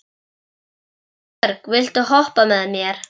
Sveinbjörg, viltu hoppa með mér?